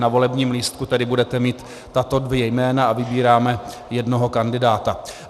Na volebním lístku tedy budete mít tato dvě jména a vybíráme jednoho kandidáta.